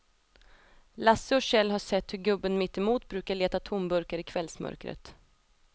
Lasse och Kjell har sett hur gubben mittemot brukar leta tomburkar i kvällsmörkret.